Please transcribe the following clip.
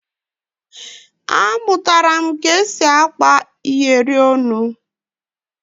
Amụtara m ka e si akpa iyeri olu